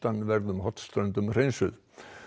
norðaustanverðum Hornströndum hreinsuð